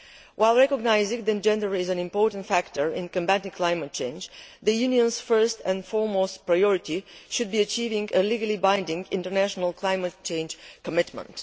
While recognising that gender is an important factor in combating climate change, the EU's first priority should be achieving a legally binding international climate change commitment.